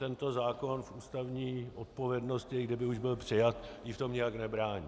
Tento zákon ústavní odpovědnosti, i kdyby už byl přijat, jí v tom nijak nebrání.